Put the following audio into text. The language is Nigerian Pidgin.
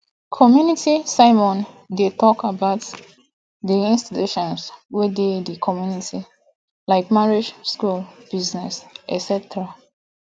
community sermon de talk about di institutions wey de di community like marriage school business etc